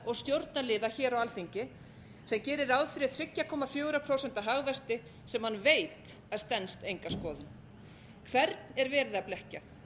og stjórnarliða hér á alþingi sem gerir ráð fyrir þrjú komma fjögurra prósenta hagvexti sem hann veit að stenst enga skoðun hvern er verið að blekkja